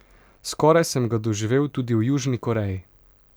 Skoraj sem ga doživel tudi v Južni Koreji.